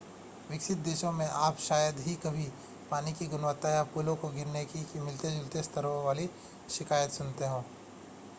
विकसित देशों में आप शायद ही कभी पानी की गुणवत्ता या पुलों के गिरने की मिलते-जुलते स्तरों वाली शिकायतें सुनते हैं